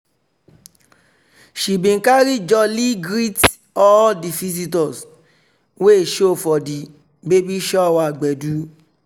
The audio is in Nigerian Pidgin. she bin carry jolly greet all di visitors wey show for di baby shower gbedu.